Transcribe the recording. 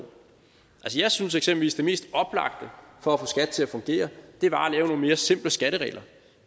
jeg synes eksempelvis det mest oplagte for at til at fungere var at mere simple skatteregler